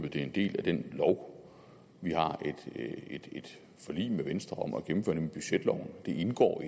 at det er en del af den lov vi har et forlig med venstre om at gennemføre nemlig budgetloven det indgår